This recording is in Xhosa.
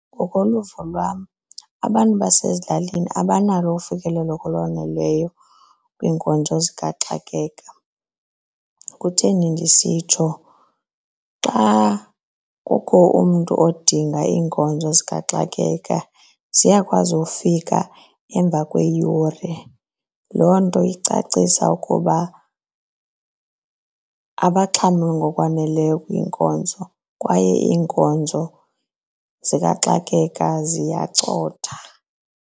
Ngokoluvo lwam abantu basezilalini abanalo ufikelelo olwaneleyo kwiinkonzo zikaxakeka. Kutheni ndisitsho xa kukho umntu odinga iinkonzo zikaxakeka ziyakwazi ufika emva kweeyure, loo nto icacisa ukuba abaxhamli ngokwaneleyo kwiinkonzo kwaye iinkonzo zikaxakeka ziyacotha.